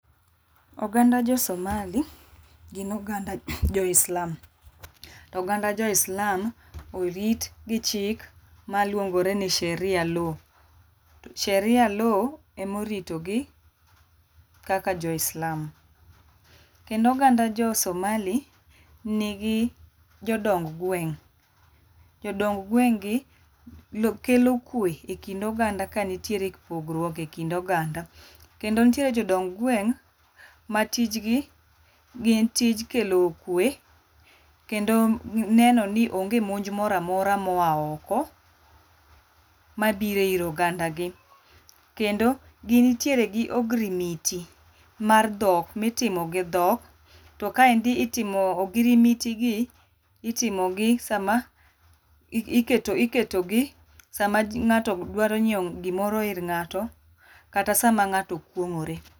Oganda jo Somali gin oganda jo islam. Oganda jo islam orit gi chik ma luongore ni sheria law. Sheria law ema orito gi, kaka joislam. Kendo oganda josomali, nigi jodong gweng'. Jodong gweng' gi kelo kwe e kind oganda ka nitiere pogruok e kind oganda. Kendo nitiere jodong gweng' ma tijgi gin tij kelo kwe, kendo neno ni onge monj moro amora moa oko mabiro ir oganda gi. Kendo gintiere gi ogirimiti mar dhok mitimo gi dhok, to kaendi itimo ogirimiti gi, itimogi sama i iketo, iketo gi sama ng'ato dwaro nyiewo gimoro ir ng'ato, kata sama ng'ato kwong'ore.